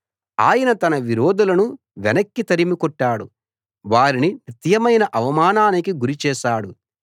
ఆయన తన విరోధులను వెనక్కి తరిమికొట్టాడు వారిని నిత్యమైన అవమానానికి గురి చేశాడు